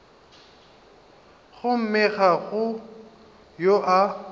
gomme ga go yo a